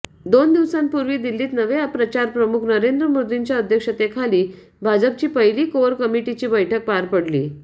दोन दिवसांपुर्वी दिल्लीत नवे प्रचारप्रमुख नरेंद्र मोदींच्या अध्यक्षतेखाली भाजपची पहिली कोअर कमिटीची बैठक पार पडली